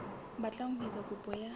batlang ho etsa kopo ya